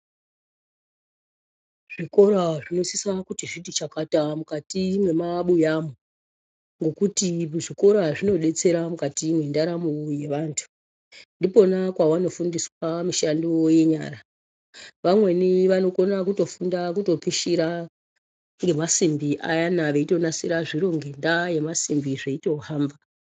Zvikora zvinosisa kuti zviti chakata mukati mwemabuyamwo . Ngekuti kuzvikora kunobetsera mukati mwendaramo yevantu. Ndipona kwavanofundiswa mishando yenyara. Vamweni vanokona kutofunga kutopishira zvemasimbi ayana veitonasira zviro ngendaa yemasimbi zveitohamba.